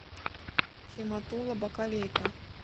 химатула бакалейка